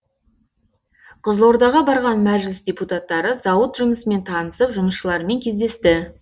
қызылордаға барған мәжіліс депутаттары зауыт жұмысымен танысып жұмысшылармен кездесті